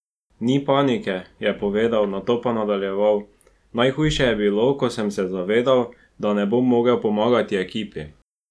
Ni panike," je povedal, nato pa nadaljeval: "Najhuje je bilo, ko sem se zavedal, da ne bomo mogel pomagati ekipi.